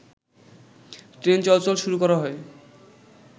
train চলাচল শুরু করা হয়